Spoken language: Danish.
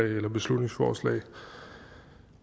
det her beslutningsforslag